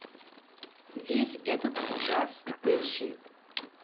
весь этот джаз поищи